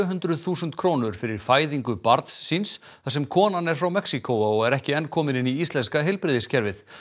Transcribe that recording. hundruð þúsund krónur fyrir fæðingu barns síns þar sem konan er frá Mexíkó og er ekki enn komin inn í íslenska heilbrigðiskerfið